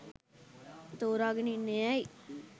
තෝරගෙන ඉන්නේ ඇයි?